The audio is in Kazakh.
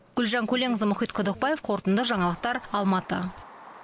гүлжан көленқызы мұхит құдықбаев қорытынды жаңалықтар алматы